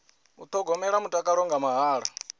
u thogomela mutakalo nga mahala